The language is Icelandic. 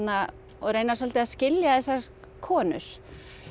og reyna svolítið að skilja þessar konur